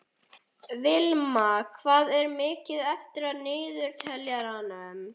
Vilma, hvað er mikið eftir af niðurteljaranum?